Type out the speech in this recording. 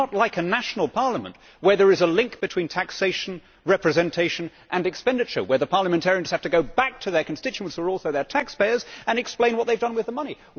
It is not like a national parliament where there is a link between taxation, representation and expenditure and where the parliamentarians have to go back to their constituents, who are also their taxpayers, and explain what they have done with the money.